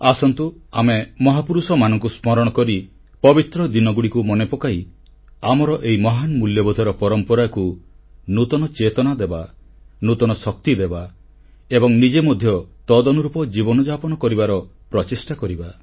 ଆସନ୍ତୁ ଆମେ ମହାପୁରୁଷମାନଙ୍କୁ ସ୍ମରଣ କରି ପବିତ୍ର ଦିନଗୁଡ଼ିକୁ ମନେପକାଇ ଆମର ଏହି ମହାନ ମୂଲ୍ୟବୋଧର ପରମ୍ପରାକୁ ନୂତନ ଚେତନା ଦେବା ନୂତନ ଶକ୍ତି ଦେବା ଏବଂ ନିଜେ ମଧ୍ୟ ସେହି ଧାରାରେ ଜୀବନଯାପନ କରିବାର ପ୍ରଚେଷ୍ଟା କରିବା